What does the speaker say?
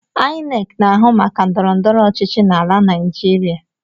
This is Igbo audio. Ainek na-ahụ maka ndọrọndọrọ ochichi n’ala naijiria